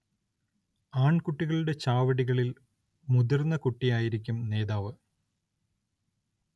ആൺകുട്ടികളുടെ ചാവടികളിൽ മുതിർന്ന കുട്ടിയായിരിക്കും നേതാവ്.